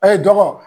A ye dɔgɔ